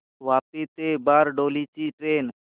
वापी ते बारडोली ची ट्रेन